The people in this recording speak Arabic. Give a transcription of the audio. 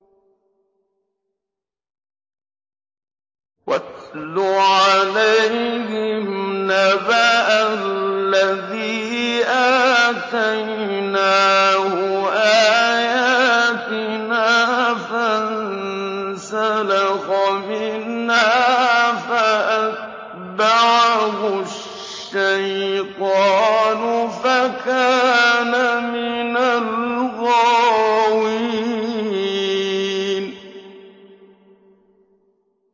وَاتْلُ عَلَيْهِمْ نَبَأَ الَّذِي آتَيْنَاهُ آيَاتِنَا فَانسَلَخَ مِنْهَا فَأَتْبَعَهُ الشَّيْطَانُ فَكَانَ مِنَ الْغَاوِينَ